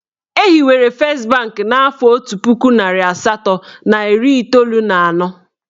Ehiwere fest banki n'afọ otu puku narị asatọ na iri iteolu na anọ.